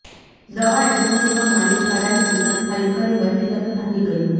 દવા એજન્સીનો માલિક ભાડાની દુકાન ખાલી કરી વહેલી તકે ભાગી ગયો